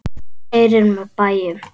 Þú keyrir með bæjum.